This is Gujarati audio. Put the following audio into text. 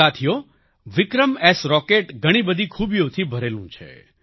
સાથીઓ વિક્રમ એસ રોકેટ ઘણી બધી ખૂબીઓથી ભરેલું છે